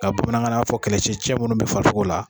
Kga bamanankan na, an b'a fɔ kɛlɛ cɛ munnu be farisogo la.